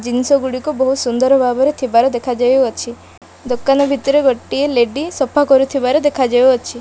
ଜିନିଷ ଗୁଡ଼ିକ ବହୁତ ସୁନ୍ଦର ଭାବରେ ଥିବାର ଦେଖା ଯାଉଅଛି ଦୋକାନ ଭିତରେ ଗୋଟିଏ ଲେଡି ସଫା କରୁଥିବାର ଦେଖା ଯାଉଅଛି।